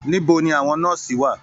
Níbo ní àwọn nọ́ọ́sì wà?